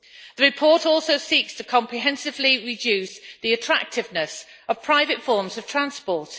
The report also seeks to comprehensively reduce the attractiveness of private forms of transport.